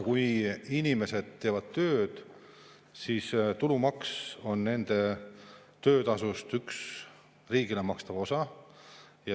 Kui inimesed teevad tööd, siis tulumaks on nende töötasust üks riigile makstav osa.